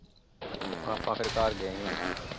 ਤੇ ਫਿਰ ਆਪਾ ਘਰ ਗਏ ਸੀ ਉਹਨਾਂ ਦੇ ।